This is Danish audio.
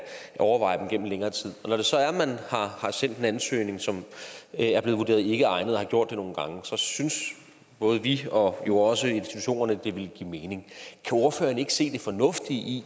overveje dem gennem længere tid når det så er at man har sendt en ansøgning som er blevet vurderet ikkeegnet og man har gjort det nogle gange så synes både vi og jo også institutionerne at det ville give mening kan ordføreren ikke se det fornuftige i